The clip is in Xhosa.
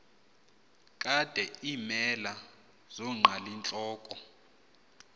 kade iimela zonqalintloko